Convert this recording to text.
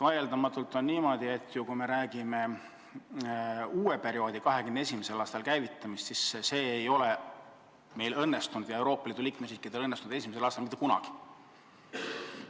Vaieldamatult on niimoodi, et kui jutt on uue perioodi algusest, siis selle käivitamine ei ole õnnestunud ei meil ega teistel Euroopa Liidu liikmesriikidel esimesel aastal mitte kunagi.